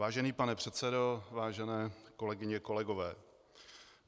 Vážený pane předsedo, vážené kolegyně, kolegové.